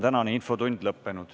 Tänane infotund on lõppenud.